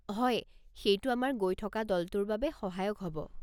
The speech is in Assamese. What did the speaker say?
হয়, সেইটো আমাৰ গৈ থকা দলটোৰ বাবে সহায়ক হ'ব।